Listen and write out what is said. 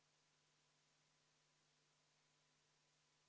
Head ametikaaslased, Eesti Konservatiivse Rahvaerakonna palutud vaheaeg on lõppenud.